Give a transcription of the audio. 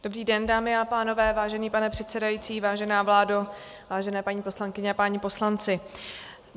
Dobrý den, dámy a pánové, vážený pane předsedající, vážená vládo, vážené paní poslankyně a páni poslanci.